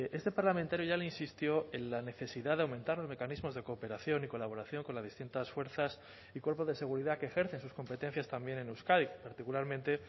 este parlamentario ya le insistió en la necesidad de aumentar los mecanismos de cooperación y colaboración con las distintas fuerzas y cuerpos de seguridad que ejercen sus competencias también en euskadi particularmente